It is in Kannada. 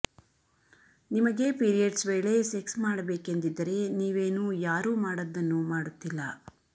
ನಿಮಗೆ ಪಿರಿಯೆಡ್ಸ್ ವೇಳೆ ಸೆಕ್ಸ್ ಮಾಡಬೇಕೆಂದಿದ್ದರೆ ನೀವೇನೂ ಯಾರೂ ಮಾಡದ್ದನ್ನು ಮಾಡುತ್ತಿಲ್ಲ